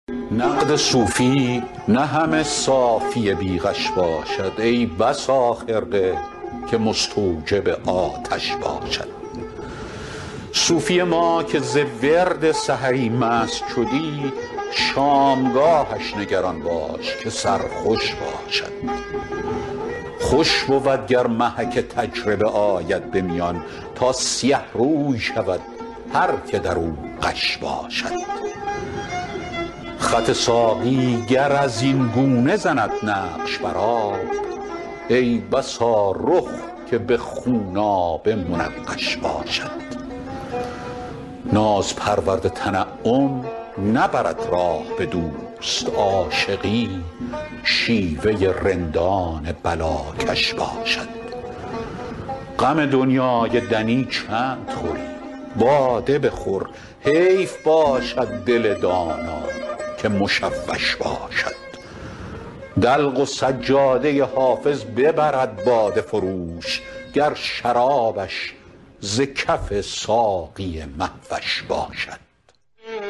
نقد صوفی نه همه صافی بی غش باشد ای بسا خرقه که مستوجب آتش باشد صوفی ما که ز ورد سحری مست شدی شامگاهش نگران باش که سرخوش باشد خوش بود گر محک تجربه آید به میان تا سیه روی شود هر که در او غش باشد خط ساقی گر از این گونه زند نقش بر آب ای بسا رخ که به خونآبه منقش باشد ناز پرورد تنعم نبرد راه به دوست عاشقی شیوه رندان بلاکش باشد غم دنیای دنی چند خوری باده بخور حیف باشد دل دانا که مشوش باشد دلق و سجاده حافظ ببرد باده فروش گر شرابش ز کف ساقی مه وش باشد